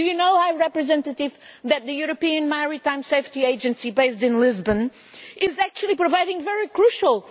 Do you know, High Representative, that the European Maritime Safety Agency, which is based in Lisbon, is actually providing very crucial